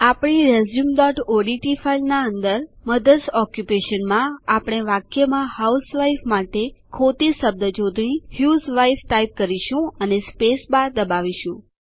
આપણી resumeઓડીટી ફાઈલના અંદર મધર્સ ઓક્યુપેશન માં આપણે વાક્યમાં હાઉસવાઇફ માટે ખોટી શબ્દ જોડણી હસ્વાઇફ ટાઈપ કરીશું અને સ્પેસબાર દબાવીશું